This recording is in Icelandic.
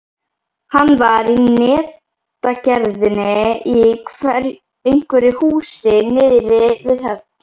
Hann var í netagerðinni í einhverju húsi niðri við höfn.